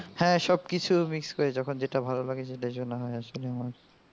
হ্যাঁ সব কিছুই mix করি যখন যেটা ভালো লাগে সেটা শোনা হয় আসলে আমার.